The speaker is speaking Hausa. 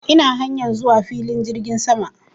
Ina hanyar zuwa filin jirgin sama